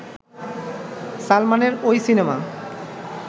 সালমানের ওই সিনেমা